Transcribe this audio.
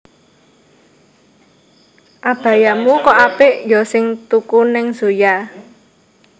Abayamu kok apik yo sing tuku ning Zoya